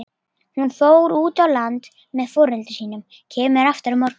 Hún fór út á land með foreldrum sínum, kemur aftur á morgun.